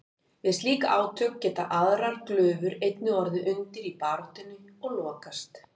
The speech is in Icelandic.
Við slík átök geta aðrar glufur einnig orðið undir í baráttunni og lokast.